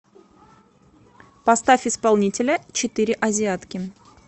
поставь исполнителя четыре азиатки